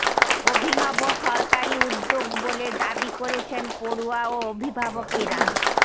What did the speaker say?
অভিনব সরকারি উদ্যোগ বলে দাবি করছেন পড়ুয়া ও অভিভাবকেরা